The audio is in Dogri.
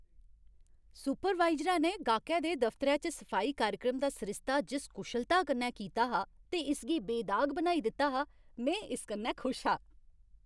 सुपरवाइजरै ने गाह्कै दे दफतरै च सफाई कार्यक्रमें दा सरिस्ता जिस कुशलता कन्नै कीता हा ते इसगी बेदाग बनाई दित्ता हा, में इस कन्नै खुश हा।